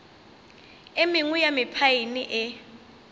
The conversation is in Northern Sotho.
e mengwe ya mephaene e